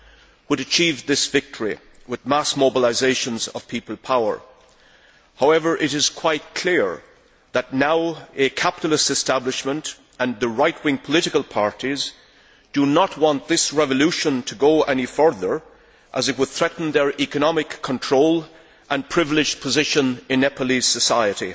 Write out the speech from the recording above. that achieved this victory with mass mobilisations of people power. However, it is quite clear that now a capitalist establishment and the right wing political parties do not want this revolution to go any further as it would threaten their economic control and privileged position in Nepalese society.